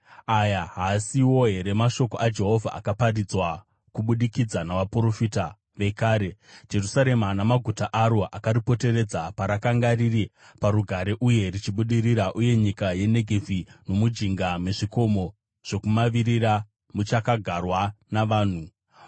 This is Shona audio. Aya haasiwo here mashoko aJehovha akaparidzwa kubudikidza navaprofita vekare, Jerusarema namaguta aro akaripoteredza parakanga riri parugare uye richibudirira, uye nyika yeNegevhi nomujinga mezvikomo zvokumavirira muchakagarwa navanhu?’ ”